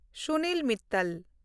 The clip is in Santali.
ᱥᱩᱱᱤᱞ ᱢᱤᱛᱛᱟᱞ